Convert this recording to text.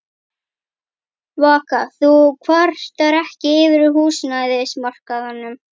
Vaka: Þú kvartar ekki yfir húsnæðismarkaðnum?